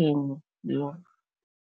yenu